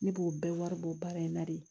Ne b'o bɛɛ wari bɔ baara in na de